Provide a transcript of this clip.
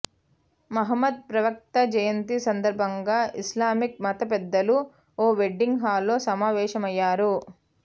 మహ్మద్ ప్రవక్త జయంతి సందర్భంగా ఇస్లామిక్ మత పెద్దలు ఓ వెడ్డింగ్ హాల్లో సమావేశమయ్యారు